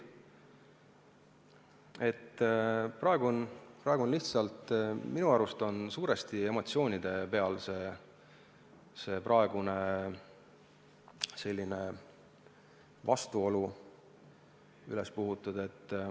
Minu arvates on see praegune vastuolu suuresti emotsioonide pealt üles puhutud.